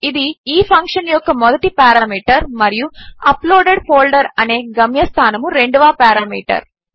ఇది ఈ ఫంక్షన్ యొక్క మొదటి పారామీటర్ మరియు అప్లోడెడ్ ఫోల్డర్ అనే గమ్యస్థానము రెండవ పారామీటరు